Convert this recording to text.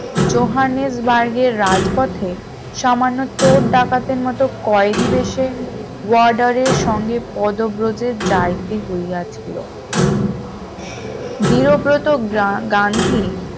জোহানবার্গের রাজপথে সামান্য চোর ডাকাতের মত কয়েদি বেশে warder এর সঙ্গে পদব্রজে যাইতে হইয়াছিল দৃঢ়ব্রত গান্ধী